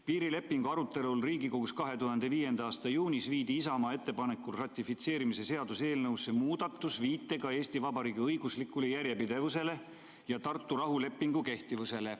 Piirilepingu arutelul Riigikogus 2005. aasta juunis viidi Isamaa ettepanekul ratifitseerimise seaduse eelnõusse muudatus viitega Eesti Vabariigi õiguslikule järjepidevusele ja Tartu rahulepingu kehtivusele.